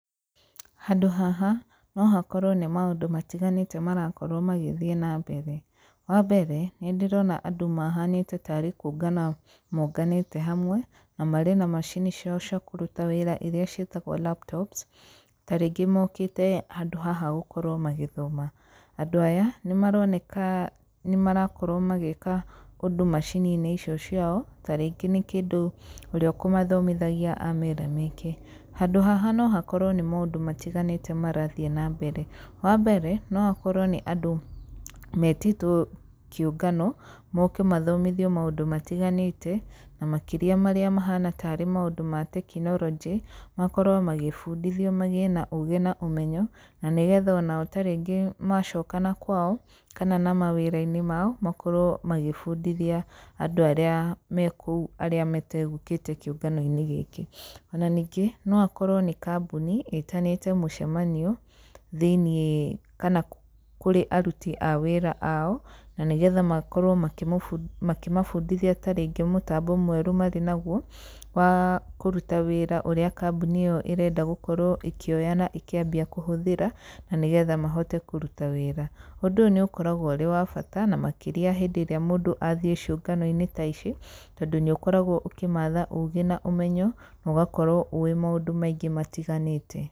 Handũ haha no hakorwo nĩ maũndũ matiganĩte marakorwo magĩthiĩ nambere, wambere nĩ ndĩrona andũ mahanĩte tarĩ kũũngana monganĩte hamwe, na marĩ na macini ciao cia kũruta wĩra iria ciĩtagwo laptops, ta rĩngĩ mokĩte handũ haha gũkorwo magĩthoma. Andũ aya nĩ maroneka nĩ marakorwo magĩka ũndũ macini-inĩ icio ciao, ta rĩngĩ nĩ kĩndũ ũrĩa ũkũmathomithagia amera meke, handũ haha no makorwo nĩ maũndũ matiganĩte marathiĩ nambere, wambere no akorwo nĩ andũ metĩtwo kĩũngano, moke mathomithio maũndũ matiganĩte, na makĩria marĩa mahana tarĩ maũndũ ma tekinoronjĩ, makorwo magĩbundithio magĩe na ũgĩ na ũmenyo, na nĩgetha onao tarĩngĩ macoka nakwao kana na mawĩra-inĩ mao, makorwo magĩbundithia andũ arĩa me kũu arĩa mategũkĩte kĩũngano-inĩ gĩkĩ. Ona ningĩ no akorwo nĩ kambuni ĩtanĩte mũcemanio thĩinĩ kana kũrĩ aruti a wĩra ao, na nĩgetha makorwo makĩmabundithia tarĩngĩ mũtambo mwerũ marĩ naguo, wa kũruta wĩra ũrĩa kambuni ĩyo ĩrenda gũkorwo ĩkĩoya na ĩkĩambia kũhũthĩra, na nĩgetha mahote kũruta wĩra. Ũndũ ũyũ nĩ ũkoragwo ũrĩ wa bata, na makĩria rĩrĩa mũndũ athiĩ ciũngano-inĩ ta ici, tondũ nĩ ũkoragwo ũkĩmatha ũgĩ na ũmenyo na ũgakorwo ũĩ maũndũ maingĩ matiganĩte.